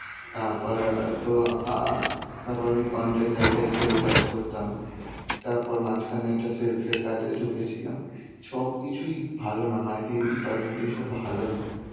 তারপর অ্যাঁ তো অ্যাঁ তারপর আমি content writer হিসেবে কাজ করতাম, তারপর মাঝখানে একটা sales র কাজে ঢুকেছিলাম. সবকিছুই ভালো না marketing department. এসব ভালো না.